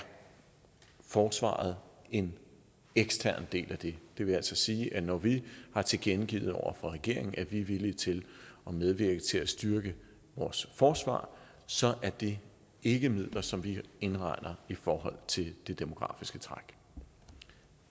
forsvaret en ekstern del af det det vil altså sige at når vi har tilkendegivet over for regeringen at vi er villige til at medvirke til at styrke vores forsvar så er det ikke midler som vi indregner i forhold til det demografiske træk